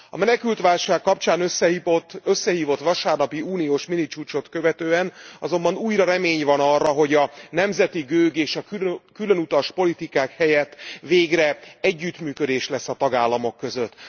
A menekültválság kapcsán összehívott vasárnapi uniós minicsúcsot követően azonban újra remény van arra, hogy a nemzeti gőg és a különutas politikák helyett végre együttműködés lesz a tagállamok között.